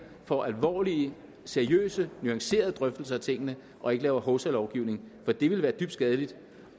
får alvorlige seriøse og nuancerede drøftelser af tingene og ikke laver hovsalovgivning for det ville være skadeligt